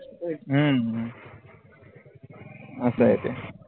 हम्म असय ते